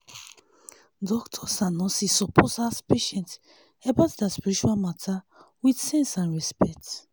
doctors and nurses suppose ask patients about their spiritual matter with sense and respect